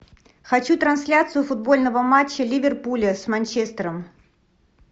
хочу трансляцию футбольного матча ливерпуля с манчестером